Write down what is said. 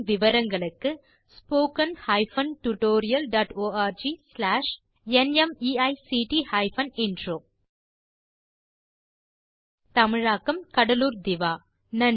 மேலும் விவரங்களுக்கு spoken hyphen tutorial dot org slash நிமைக்ட் ஹைபன் இன்ட்ரோ தமிழாக்கம் கடலூர் திவா